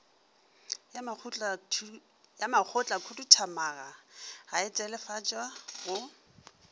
ya makgotlakhuduthamaga e telefatswa go